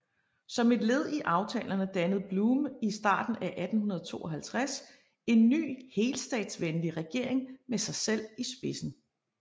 Som et led i aftalerne dannede Bluhme i starten af 1852 en ny helstatsvenlig regering med sig selv i spidsen